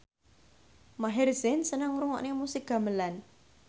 Maher Zein seneng ngrungokne musik gamelan